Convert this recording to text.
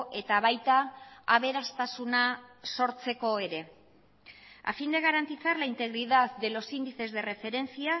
eta baita aberastasuna sortzeko ere a fin de garantizar la integridad de los índices de referencia